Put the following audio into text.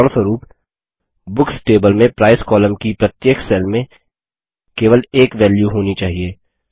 उदाहरणस्वरूप books table में price column की प्रत्येक सेल में केवल एक वेल्यू होनी चाहिए